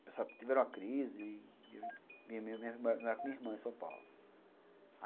Eles tiveram uma crise e eu morava com a minha irmã em São Paulo.